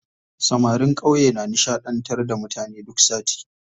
Samarin ƙauye na nishaɗantar da mutane duk sati.